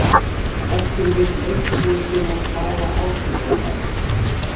Ef til vill einnig til að hafa áhrif á þá.